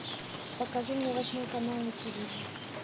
покажи мне восьмой канал на тв